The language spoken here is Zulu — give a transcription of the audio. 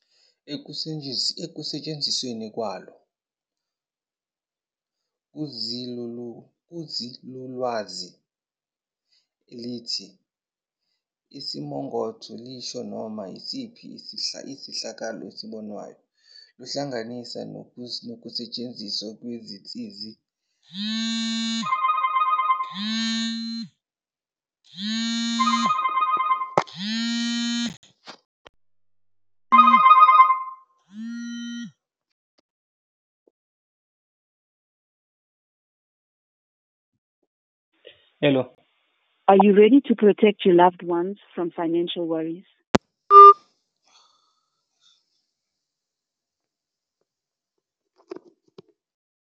Ekusetshenzisweni kwalo kwinzululwazi, elithi Isimongotho lisho noma yisiphi isehlakalo esibonwayo, kuhlanganisa nokusetshenziswa kwezinsiza zokusiqapha, ukusiqopha, nokuqoqa imininingo.